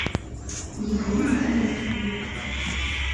елене денисовне